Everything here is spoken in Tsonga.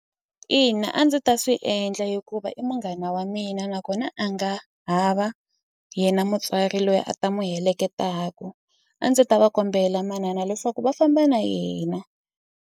Ina a ndzi ta swi endla hikuva i munghana wa mina nakona a nga hava yena mutswari loyi a ta n'wi heleketaku a ndzi ta va kombela manana leswaku va famba na yena.